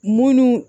Munnu